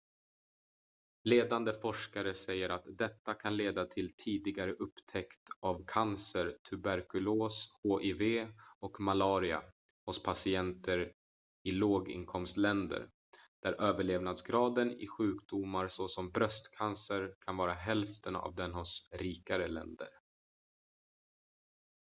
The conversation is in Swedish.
ledande forskare säger att detta kan leda till tidigare upptäckt av cancer tuberkulos hiv och malaria hos patienter i låginkomstländer där överlevnadsgraden i sjukdomar såsom bröstcancer kan vara hälften av den hos rikare länder